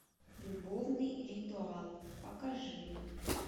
любовный ритуал покажи